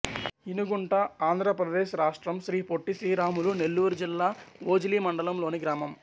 ఇనుగుంట ఆంధ్ర ప్రదేశ్ రాష్ట్రం శ్రీ పొట్టి శ్రీరాములు నెల్లూరు జిల్లా ఓజిలి మండలం లోని గ్రామం